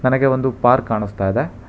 ಹಾಗೆ ಒಂದು ಪಾರ್ಕ್ ಕಾಣಿಸ್ತಾ ಇದೆ.